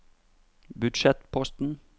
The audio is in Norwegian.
budsjettposten